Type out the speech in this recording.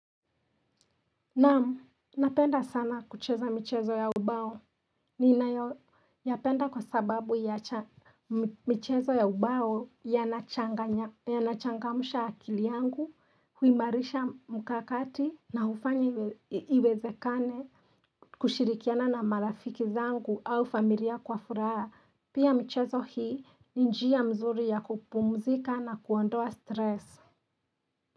Naam, napenda sana kucheza michezo ya ubao ninayapenda kwa sababu ya cha, michezo ya ubao yanachanganya yanachangamsha akili yangu, huimarisha mkakati na hufanya iwezekane kushirikiana na marafiki zangu au familia kwa furaha pia michezo hii ni njia mzuri ya kupumzika na kuondoa stress.